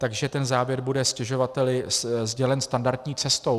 Takže ten závěr bude stěžovateli sdělen standardní cestou.